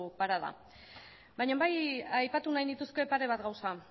parada baina bai aipatu nahi nituzke pare bat gauza